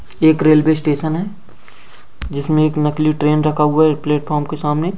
एक railway station है जिसमे एक नकली ट्रेन रखा हुआ है एक प्लेटफोर्म के सामने।